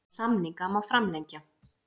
En samninga má framlengja.